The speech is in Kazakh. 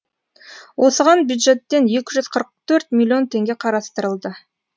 осыған бюджеттен екі жүз қырық төрт миллион теңге қарастырылды